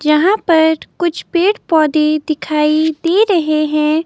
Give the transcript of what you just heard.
जहां पर कुछ पेड़ पौधे दिखाई दे रहे हैं।